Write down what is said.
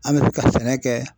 An bɛ ka sɛnɛ kɛ